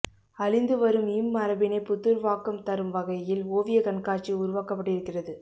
அழிந்து வரும் இம் மரபினை புத்துருவாக்கம் தரும்வகையில் ஒவியக்கண்காட்சி உருவாக்கபட்டிருக்கிறது